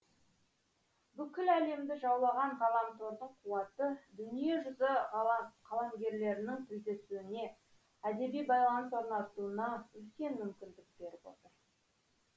бүкіл әлемді жаулаған ғаламтордың қуаты дүниежүзі қаламгерлерінің тілдесуіне әдеби байланыс орнатуына үлкен мүмкіндік беріп отыр